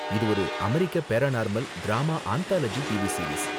இது ஒரு அமெரிக்க paranormal drama anthology TV series.